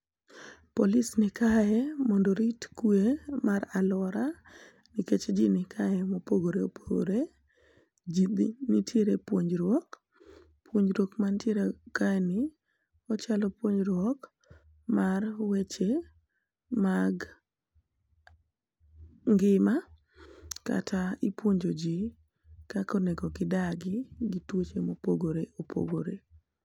Police ni kae mondo orit kue mar aluora nikech ji nikae mopogore opogore ,ji be nitiere puonjruok ,puonjruok mantiere kae ni ochalo puonjruok mar weche mag ngima kata ipuonjo ji kaka onego gi dagi gi tuche mopogore opogore.